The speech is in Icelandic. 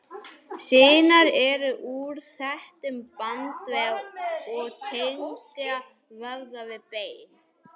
Sinar eru úr þéttum bandvef og tengja vöðva við bein.